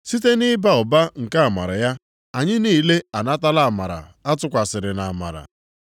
Site nʼịba ụba nke amara ya, anyị niile anatala amara a tụkwasịrị nʼamara.